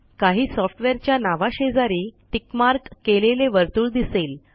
काही सॉफ्टवेअरच्या नावाशेजारी टिक मार्क केलेले वर्तुळ दिसेल